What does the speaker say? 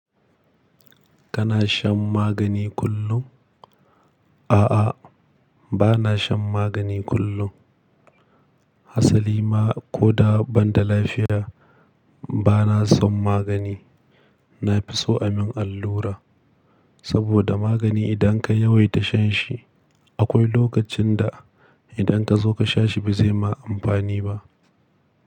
Kana shan magani kullum? A'a, bana shan magani kullum. Hasali ma ko da ban da lafiya bana son magani. Na fi so a min allura saboda magani idan ka yawaita shan shi akwai lokacin da idan ka zo ka sha shi bazai ma amfani ba.